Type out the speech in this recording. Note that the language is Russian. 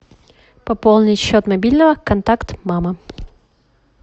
пополнить счет мобильного контакт мама